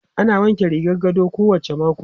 Ana wanke rigar gado kowacce mako.